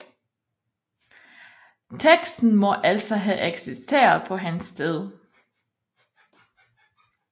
Teksten må altså have eksisteret på hans tid